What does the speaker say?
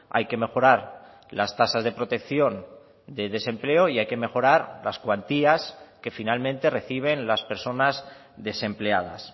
hay que mejorar las tasas de protección de desempleo y hay que mejorar las cuantías que finalmente reciben las personas desempleadas